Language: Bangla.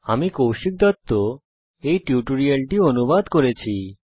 আমি কৌশিক দত্ত এই টিউটোরিয়াল টি অনুবাদ করেছি